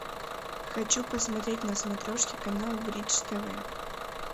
хочу посмотреть на смотрешке канал бридж тв